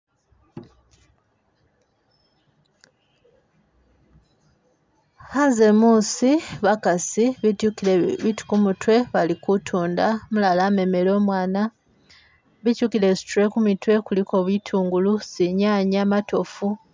Khanze muusi bakasi betyukile bitu kumutwe bali kutunda umulala amemele umwana bityukile zi tray kumitwe kuliko bitungulu zinyanya matofu.